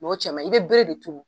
O cɛ ma ɲin , i bɛ bere de turu.